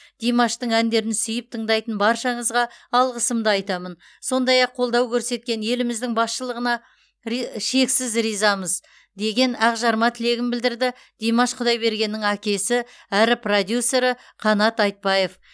димаштың әндерін сүйіп тыңдайтын баршаңызға алғысымды айтамын сондай ақ қолдау көрсеткен еліміздің басшылығына ри шексіз ризамыз деген ақжарма тілегін білдірді димаш құдайбергеннің әкесі әрі продюсері қанат айтбаев